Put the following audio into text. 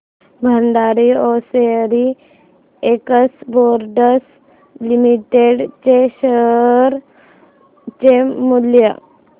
Bhandari hosiery exports limited च्या share चे मूल्य